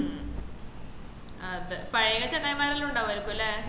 ആഹ് അതെ പഴേ ചെങ്ങായ്മാരെല്ലാം ഉണ്ടാവേയ്ക്കുംലെ